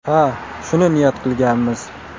Ha, shuni niyat qilganmiz.